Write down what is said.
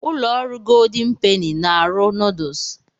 Ụlọ ọrụ Goldin Peni na - arụ nuduls.